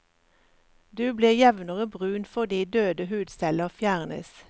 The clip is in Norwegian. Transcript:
Du blir jevnere brun fordi døde hudceller fjernes.